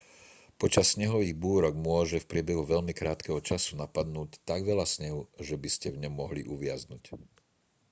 počas snehových búrok môže v priebehu veľmi krátkeho času napadnúť tak veľa snehu že by ste v ňom mohli uviaznuť